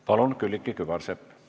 Palun, Külliki Kübarsepp!